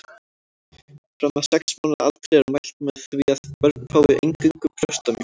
Fram að sex mánaða aldri er mælt með því að börn fái eingöngu brjóstamjólk.